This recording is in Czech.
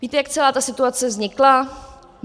Víte, jak celá ta situace vznikla?